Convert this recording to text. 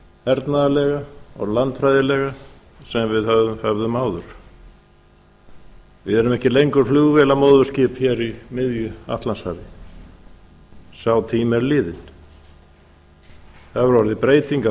hernaðarlega og landfræðilega sem við höfðum áður við erum ekki lengur flugvélamóðurskip hér í miðju atlantshafi sá tími er liðinn það hefur orðið breyting á